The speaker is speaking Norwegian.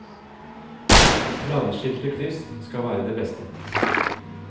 Planskilte kryss hadde vært det beste.